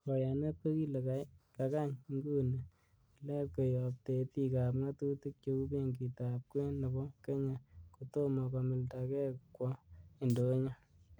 Koyanet kokile kakany inguni tilet koyob tetik ab ngatutik cheu Benkitab kwen nebo Kenya, kotomo komildage kwo indonyo.